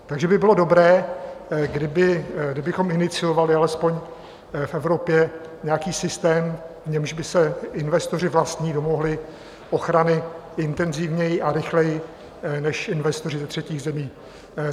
Takže by bylo dobré, kdybychom iniciovali alespoň v Evropě nějaký systém, v němž by se investoři vlastní domohli ochrany intenzivněji a rychleji, než investoři ze třetích zemí.